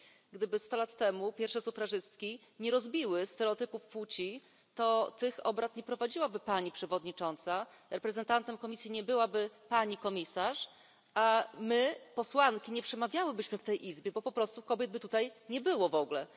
Gdyby 100 lat temu pierwsze sufrażystki nie rozbiły stereotypów płci, to tych obrad nie prowadziłaby pani przewodnicząca, reprezentantem Komisji nie byłaby pani komisarz, a my posłanki nie przemawiałybyśmy w tej Izbie, bo po prostu kobiet by tutaj nie było w ogóle.